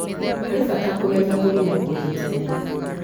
harĩ bata kũmenya mũrimũ ũyũ tene